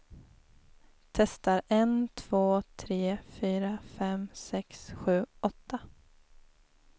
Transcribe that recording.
Testar en två tre fyra fem sex sju åtta.